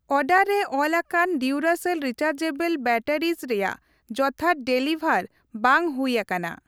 Order ᱨᱮ ᱚᱞᱟᱠᱟᱱ Duracell ᱨᱤᱪᱟᱨᱡᱮᱵᱚᱞᱼᱮ ᱵᱮᱴᱟᱨᱤᱡ ᱨᱮᱭᱟᱜ ᱡᱚᱛᱷᱟᱛ ᱰᱮᱞᱤᱵᱷᱟᱨ ᱵᱟᱝ ᱦᱩᱭ ᱟᱠᱟᱱᱟ ᱾